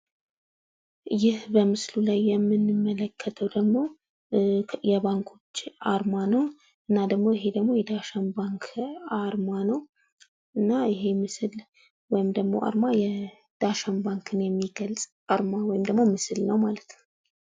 ይህ በምስሉ ላይ የምንመለከተዉ ደግሞ የባንኮች አርማ ነዉ። እና ደግሞ ይህ ደግሞ የዳሽን ባንክ አርማ። እና ይህ ምስል ዳሽን ባንክን የሚገልፅ አርማ ነዉ ማለት ነዉ።